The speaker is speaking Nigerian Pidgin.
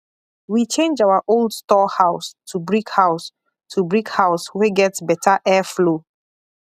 we change our old store house to brick house to brick house wey get better air flow